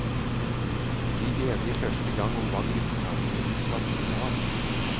Bli enige første gangen om hva gruppesamlingene skal bestå av.